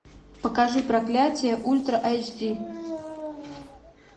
покажи проклятие ультра айч ди